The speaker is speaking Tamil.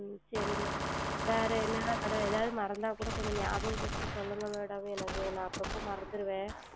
உம் சரிங்கள் Madam வேறு என்ன என்ன Madam எதாவது மறந்தால் கூட கொஞ்சம் நியாபகம் படுத்தி சொல்லுங்கள் Madam எனக்கு நான் அப்போ அப்போ மறந்திடுவேன்